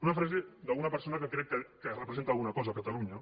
una frase d’una persona que crec que representa alguna cosa a catalunya